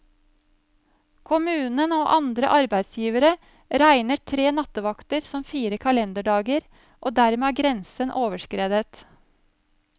Kommunen og andre arbeidsgivere regner tre nattevakter som fire kalenderdager, og dermed er grensen overskredet.